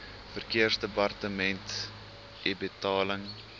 verkeersdepartementebetaling